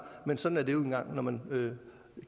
men sådan er det nu engang når man